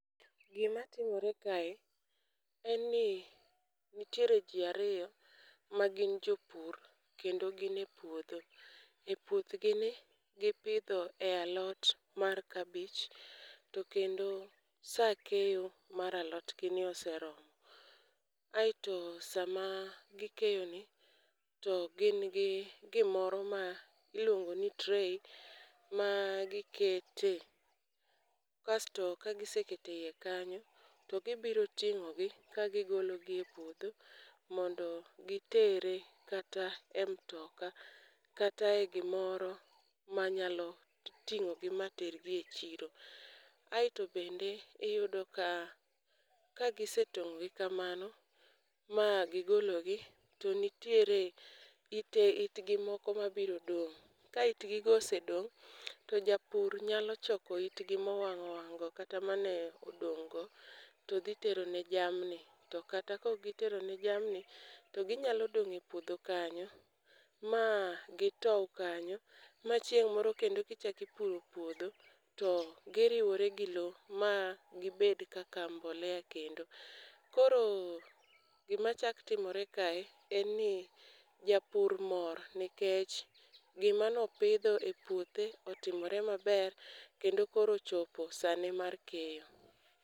Gima timore ka e, en ni nitiere ji ariyo magin jopur kendo gin e puodho. E puothgi ni, gi pidho e alot mar kabich to kendo sa keyo mar alotgi ne oseromo. Aeto sama gikeyoni to gin gi gimoro ma iluongoni tray ma gikete. Kasto kagisekete ie kanyo to gibiro ting'ogi ka gigologi e puodho mondo gitere kata e mtoka, kata e gimoro manyalo ting'ogi mater gi e chiro. Aeto bende, iyudo ka kagisetong'e kamano, ma gigologi to nitiere ite itgi moko mabiro dong'. Ka itgi go osedong' to japur nyalo choko itgi mowang' owang'go, kata mane odong' go to dhi tero ne jamni. To kata kok gitero ne jamni, to ginyalo dong' e puodho kanyo ma gitow kanyo ma chieng' moro kendo kichak ipuro puodho to giriwore gilo ma gibed kaka mbolea kendo. Koro gima chak timore kae, en ni japur mor nikech gima ne opidho e puothe otimore maber, kendo koro ochopo sane mar keyo.